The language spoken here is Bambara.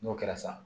N'o kɛra sa